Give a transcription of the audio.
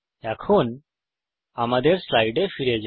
এখন আমরা আমাদের স্লাইডে ফিরে যাই